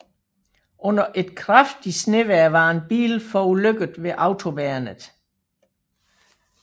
Under et kraftigt snevejr var en bil forulykket ved autoværnet